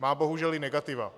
Má bohužel i negativa.